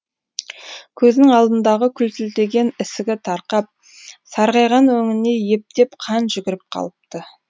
көзінің алдындағы күлтілдеген ісігі тарқап сарғайған өңіне ептеп қан жүгіріп қалыпты